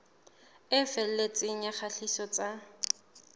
e felletseng ya kgatiso tsa